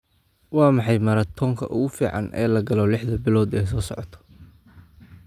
Waa maxay maratoonka ugu fiican ee la galo lixda bilood ee soo socota?